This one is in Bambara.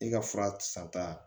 I ka fura san ta